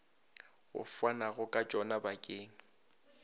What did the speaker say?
go fanwago ka tšona bakeng